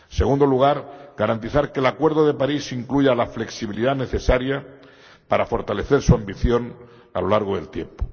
En segundo lugar, garantizar que el acuerdo de París incluya la flexibilidad necesaria para fortalecer su ambición a lo largo del tiempo.